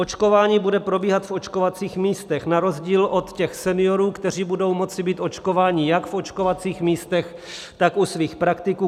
Očkování bude probíhat v očkovacích místech na rozdíl od těch seniorů, kteří budou moci být očkováni jak v očkovacích místech, tak u svých praktiků.